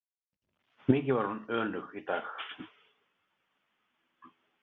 Mikið var hún önug í dag.